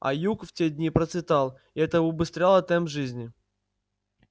а юг в те дни процветал и это убыстряло темп жизни